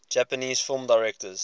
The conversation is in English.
japanese film directors